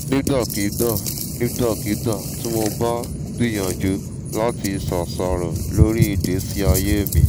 nígbàkigbà nígbàkigbà tí mo bá gbìyànjú láti ṣàṣàrò lórí ìgbésí ayé mi